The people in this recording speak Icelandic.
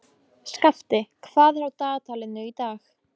Skafti, hvað er á dagatalinu í dag?